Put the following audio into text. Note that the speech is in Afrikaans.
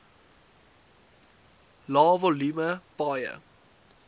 lae volume paaie